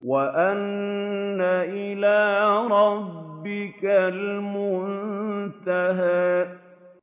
وَأَنَّ إِلَىٰ رَبِّكَ الْمُنتَهَىٰ